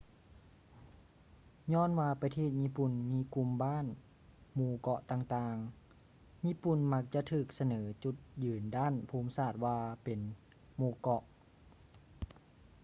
ຍ້ອນວ່າປະເທດຍີ່ປຸ່ນມີກຸ່ມບ້ານ/ໝູ່ເກາະຕ່າງໆ ຍີ່ປຸ່ນມັກຈະຖືກສະເໜີຈຸດຍືນດ້ານພູມສາດວ່າເປັນ ໝູ່ເກາະ